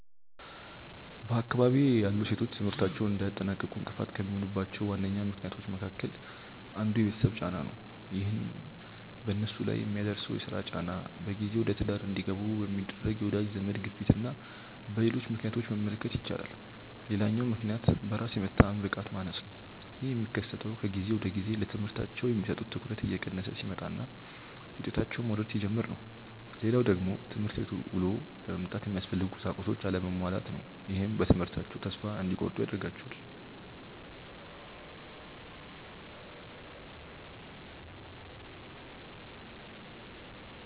በአካባቢዬ ያሉ ሴቶች ትምህርታቸውን እንዳያጠናቅቁ እንቅፋት ከሚሆኑባቸው ዋነኛ ምክንያቶች አንዱ የቤተሰብ ጫና ነው። ይህንንም በነሱ ላይ በሚደርሰው የስራ ጫና፣ በጊዜ ወደትዳር እንዲገቡ በሚደረግ የወዳጅ ዘመድ ግፊትና በሌሎች ምክንያቶች መመልከት ይቻላል። ሌላኛው ምክንያት በራስ የመተማመን ብቃት መቀነስ ነው። ይህ የሚከሰተው ከጊዜ ወደጊዜ ለትምህርታቸው የሚሰጡት ትኩረት እየቀነሰ ሲመጣና ውጤታቸውም መውረድ ሲጀምር ነው። ሌላው ደግሞ ትምህርት ቤት ውሎ ለመምጣት የሚያስፈልጉ ቁሳቁሶች አለመሟላት ነው። ይህም በትምህርታቸው ተስፋ እንዲቆርጡ ያደርጋቸዋል።